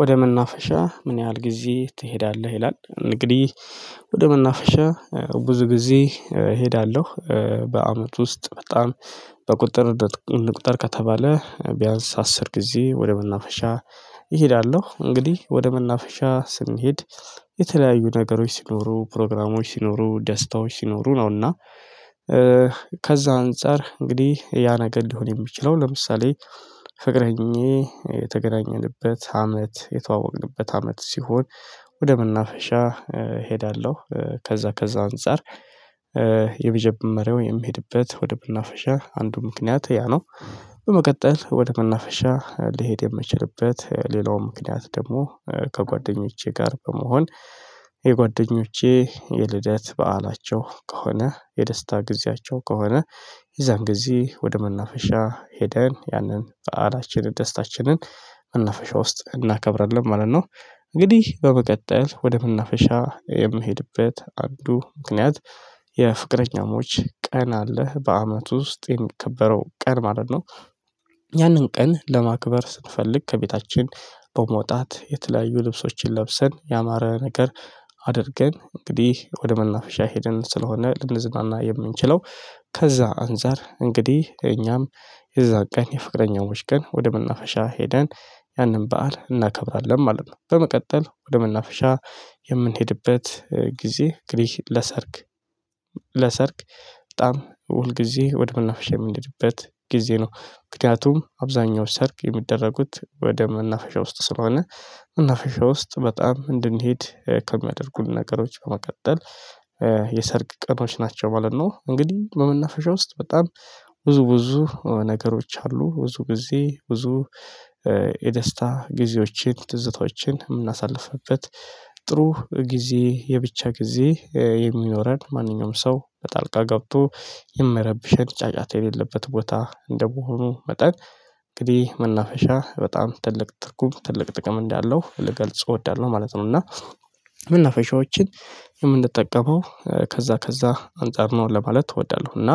ወደ መናፈሻ ምን ያህል ጊዜ ትሄዳለህ? ይላል እንግዲህ ወደ መናፈሻ ብዙ ጊዜ እሄዳለሁ። በአመት ውስጥ በጣም በቁጥር እንቁጠር ከተባለ ቢያንስ አስር ጊዜ ወደ መናፈሻ እሄዳለሁ። እንግዲህ ወደ መናፈሻ ስንሄድ የተለያዩ ነገሮች ሲኖሩ ፕሮግራሞች ሲኖሩ ደስታዎች ሲኖሩ ነውና። ከዛ አንፃር እንግዲህ ያ ነገር ሊሆን የሚችለው ለምሳሌ ፍቅረኛዬ የተገናኘንበት አመት የተዋወቅንበት አመት ሲሆን ወደ መናፈሻ እሄዳለሁ። ከዛ ከዛ አንፃር የመጀመሪያው የሚሄድበት ወደ መናፈሻ አንዱ ምክንያት ያ ነው። በመቀጠል ወደ መናፈሻ ሊሄድ የሚችልበት ሌላው ምክንያት ደግሞ ከጓደኞቼ ጋር በመሆን የጓደኞቼ የልደት በዓላቸው ከሆነ የደስታ ጊዜያቸው ከሆነ የዛን ጊዜ ወደ መናፈሻ ሄደን ያንን በዓላችንን ደስታችንን መናፈሻ ውስጥ እናከብራለን ማለት ነው። እንግዲህ በመቀጠል ወደ መናፈሻ የምሄድበት አንዱ ምክንያት የፍቅረኛሞች ቀን አለ በአመቱ ውስጥ የሚከበረው ቀን ማለት ነው። ያንን ቀን ለማክበር ስንፈልግ ከቤታችን በመውጣት የተለያዩ ልብሶችን ለብሰን ያማረ ነገር አድርገን እንግዲህ ወደ መናፈሻ ሄደን ስለሆነ ልንዝናና የምንችለው ከዛ አንፃር እንግዲህ እኛም የዛ ቀን የፍቅረኛሞች ቀን ወደ መናፈሻ ሄደን ያንን በዓል እናከብራለን ማለት ነው። በመቀጠል ወደ መናፈሻ የምንሄድበት ጊዜ እንግዲህ ለሰርግ ለሰርግ በጣም ሁል ጊዜ ወደ መናፈሻ የምኔድበት ጊዜ ነው። ምክንያቱም አብዛኛው ሰርግ የሚደረጉት ወደ መናፈሻ ውስጥ ስለሆነ መናፈሻ ውስጥ በጣም እንድንሄድ ከሚያደርጉን ነገሮች በመቀጠል የሰርግ ቀኖች ናቸው ማለት ነው። እንግዲህ በመናፈሻ ውስጥ በጣም ብዙ ብዙ ነገሮች አሉ ብዙ ጊዜ ብዙ የደስታ ጊዜዎችን ትዝታዎችን የምናሳልፍበት ጥሩ ጊዜ የብቻ ጊዜ የሚኖረን ማንኛውም ሰው በጣልቃ ገብቶ የማይረብሸን ጫጫታ የሌለበት ቦታ እንደሆኑ መጠን እንግዲህ መናፈሻ በጣም ትልቅ ትርጉም ትልቅ ጥቅም እንዳለው ልገልጽ እወዳለሁ ማለት ነው። እና መናፈሻዎችን የምንጠቀመው ከዛ ከዛ አንፃር ነው ለማለት እወዳለሁ እና